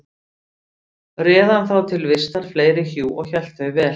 Réð hann þá til vistar fleiri hjú og hélt þau vel.